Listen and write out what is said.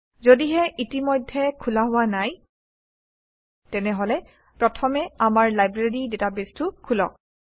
যদিহে ইতিমধ্যে খোলা হোৱা নাই তেনেহলে প্ৰথমে আমাৰ লাইব্ৰেৰী ডাটাবেছটো খোলক